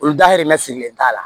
Olu dahirimɛ sigilen t'a la